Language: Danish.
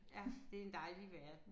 Ja det er en dejlig verden